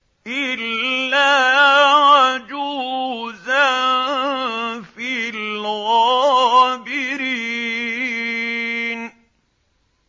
إِلَّا عَجُوزًا فِي الْغَابِرِينَ